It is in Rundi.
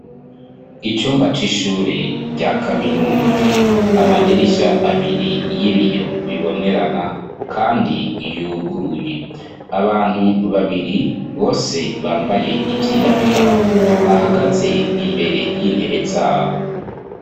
Icumba c'ishure rya kaminuza amadirisha abiri y'ibiyo bibonerana, kandi yuguruye abantu babiri bose bambaye ivyirabura bahagaze imbere y'intebe zabo.